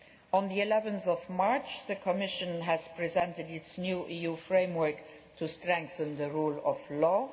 On 11March the Commission presented its new EU framework to strengthen the rule of